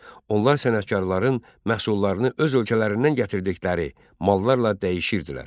Onlar sənətkarların məhsullarını öz ölkələrindən gətirdikləri mallarla dəyişirdilər.